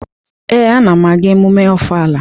Ee, ana m aga emume Ọfala.